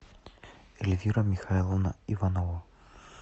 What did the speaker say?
эльвира михайловна иванова